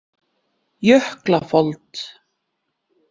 Jöklafold